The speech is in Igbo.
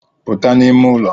Puta n'ime ụlọ